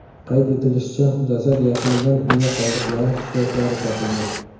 Qayd etilishicha, jasad yaqinidan miya qoldiqlari, suyaklari topilgan.